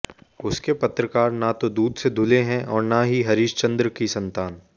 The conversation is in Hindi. उसके पत्रकार न तो दूध से धुले हैं और न ही हरिश्चंद्र की संतान